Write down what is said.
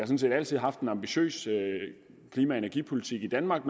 set altid haft en ambitiøs klima og energipolitik i danmark